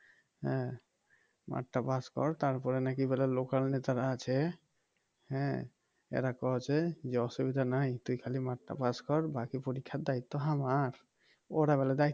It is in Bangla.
হ্যাঁ মাঠটা পাস কর তারপরে নাকি local নেতারা আছে হ্যাঁ এরা কওছে যে অসুবিধা নাই তুই খালি মাঠটা পাস কর বাকি পরীক্ষার দায়িত্ব আমার ওরা বলে